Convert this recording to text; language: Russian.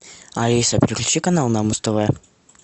алиса переключи канал на муз тв